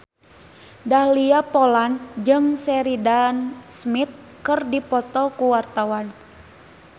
Dahlia Poland jeung Sheridan Smith keur dipoto ku wartawan